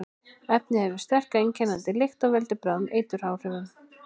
Efnið hefur sterka, einkennandi lykt og veldur bráðum eituráhrifum.